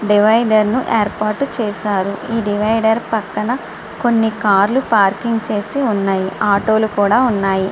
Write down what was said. Divider ను ఏర్పాటు చేసారు ఈ డివైడర్ పక్కన కొన్ని కార్ లు పార్కింగ్ చేసి ఉన్నాయి. ఆటో లు కూడా ఉన్నాయి.